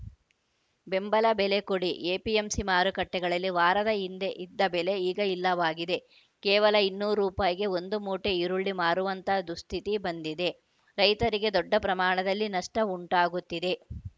ಬೆಂಬಲ ಬೆಲೆ ಕೊಡಿ ಎಪಿಎಂಸಿ ಮಾರುಕಟ್ಟೆಗಳಲ್ಲಿ ವಾರದ ಹಿಂದೆ ಇದ್ದ ಬೆಲೆ ಈಗ ಇಲ್ಲವಾಗಿದೆ ಕೇವಲ ಇನ್ನೂರು ರೂಪಾಯಿಗೆ ಒಂದು ಮೂಟೆ ಈರುಳ್ಳಿ ಮಾರುವಂತ ದುಸ್ಥಿತಿ ಬಂದಿದೆ ರೈತರಿಗೆ ದೊಡ್ಡ ಪ್ರಮಾಣದಲ್ಲಿ ನಷ್ಟಉಂಟಾಗುತ್ತಿದೆ